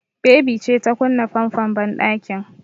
Baby ce ta kunna famfon banɗakin.